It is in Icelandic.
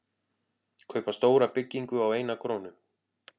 Kaupa stóra byggingu á eina krónu